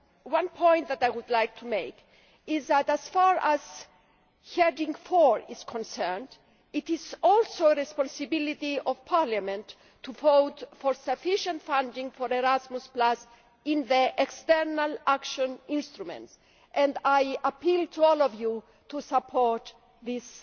One point that I would like to make is that, as far as Heading 4 is concerned, it is also a responsibility of Parliament to vote for sufficient funding for Erasmus Plus in the external action instrument, and I appeal to all of you to support this